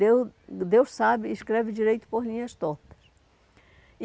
Deus Deus sabe, escreve direito por linhas tortas.